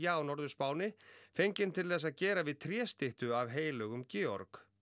á Norður Spáni fenginn til þess að gera við af heilögum Georg